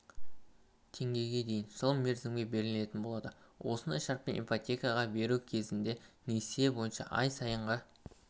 теңгеге дейін жыл мерзімге белгіленетін болады осындай шартпен ипотека беру кезінде несие бойынша ай сайынғы